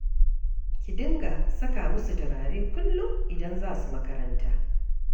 Ki dinga saka musu turare kullum idan za su makaranta.